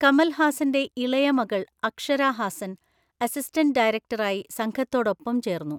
കമൽ ഹാസൻ്റെ ഇളയ മകൾ അക്ഷര ഹാസൻ അസിസ്റ്റന്റ് ഡയറക്ടറായി സംഘത്തോടൊപ്പം ചേർന്നു.